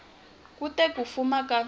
ku te ku fuma ka